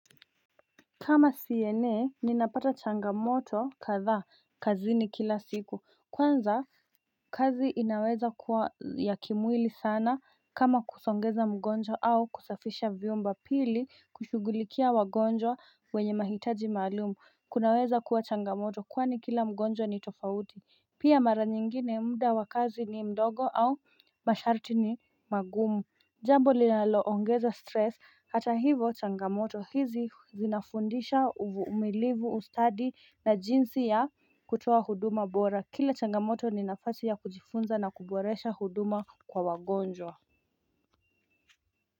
Kama siyenee ninapata changamoto kadha kazi ni kila siku kwanza kazi inaweza kuwa ya kimwili sana kama kusongeza mgonjwa au kusafisha vyumba pili kushugulikia wagonjwa wenye mahitaji maalumu kunaweza kuwa changamoto kwani kila mgonjwa ni tofauti pia mara nyingine muda wakazi ni mdogo au masharti ni magumu jambo linaloongeza stress hata hivo changamoto hizi zinafundisha umilivu ustadi na jinsi ya kutuwa huduma bora Kila changamoto ninafati ya kujifunza na kuboresha huduma kwa wagonjwa.